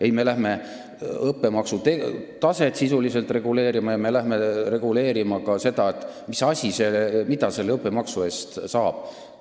Ei, me hakkame reguleerima sisuliselt õppemaksu taset ja ka seda, mida selle õppemaksu eest saab!